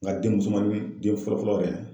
Nga den musomannin den fɔlɔ fɔlɔ yɛrɛ.